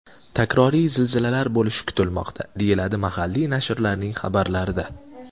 Takroriy zilzilalar bo‘lishi kutilmoqda, deyiladi mahalliy nashrlarning xabarlarida.